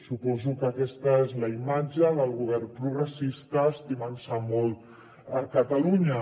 suposo que aquesta és la imatge del govern progressista estimant se molt catalunya